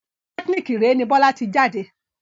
Politẹ́kínìkì Iree ni Bọ́lá ti jáde